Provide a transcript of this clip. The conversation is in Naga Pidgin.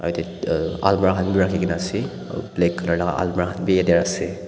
Yateh ekta almeerah bhi rakhikena ase black colour la almeerah khan bhi yateh ase.